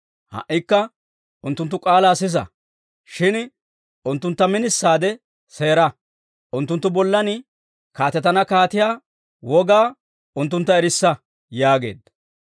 Ha"ikka unttunttu k'aalaa sisa; shin unttuntta minisaade seera; unttunttu bollan kaatetana kaatiyaa wogaa unttuntta erissa» yaageedda.